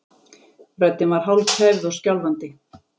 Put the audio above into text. Röddin var hálfkæfð og skjálfandi.